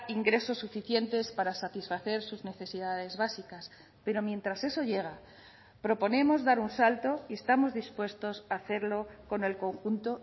ingresos suficientes para satisfacer sus necesidades básicas pero mientras eso llega proponemos dar un salto y estamos dispuestos a hacerlo con el conjunto